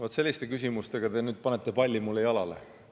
Vot selliste küsimustega te panete nüüd mulle palli jalale.